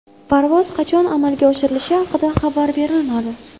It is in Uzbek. Parvoz qachon amalga oshirilishi haqida xabar berilmadi.